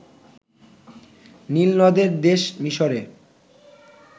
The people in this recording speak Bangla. নীলনদের দেশ মিসরের